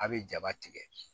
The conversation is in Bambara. A' be jaba tigɛ